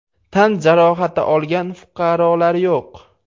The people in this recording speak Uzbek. Tan jarohati olgan fuqarolar yo‘q.